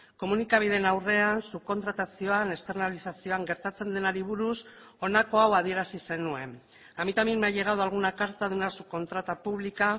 komunikabideen aurrean subkontratazioan externalizazioan gertatzen denari buruz honako hau adierazi zenuen a mí también me ha llegado alguna carta de una subcontrata pública